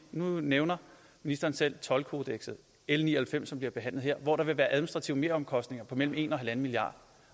nu nævner ministeren selv toldkodekset l ni og halvfems som bliver behandlet her hvor der vil være administrative meromkostninger på mellem en og en milliard